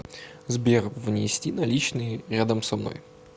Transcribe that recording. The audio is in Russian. сбер внести наличные рядом со мной